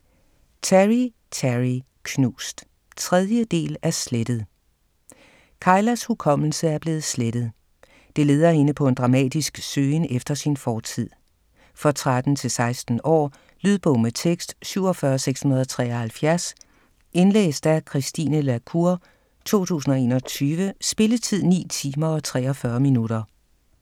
Terry, Teri: Knust 3. del af Slettet. Kylas hukommelse er blevet slettet. Det leder hende på en dramatisk søgen efter sin fortid. For 13-16 år. Lydbog med tekst 47673 Indlæst af Christine la Cour, 2021. Spilletid: 9 timer, 43 minutter.